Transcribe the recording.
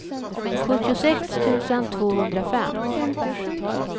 sjuttiosex tusen tvåhundrafem